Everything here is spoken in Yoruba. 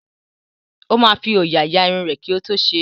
Ó máa fi òòyà ya irun rẹ̀ kí ó tó ṣe é.